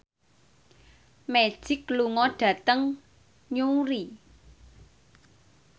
Magic lunga dhateng Newry